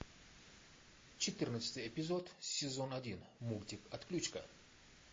четырнадцатый эпизод сезон один мультик отключка